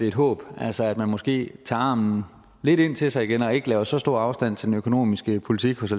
et håb altså at man måske tager armen lidt ind til sig igen og ikke laver så stor afstand til den økonomiske politik hos